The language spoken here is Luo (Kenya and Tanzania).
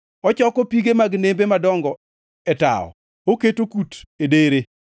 Ochoko pige mag nembe madongo e tawo; oketo kut e dere.